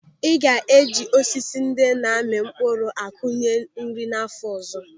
A ga-eji osisi ndị na-ami mkpụrụ akọnye nri n'áfọ ọzọ.